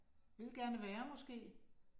Vil gerne være måske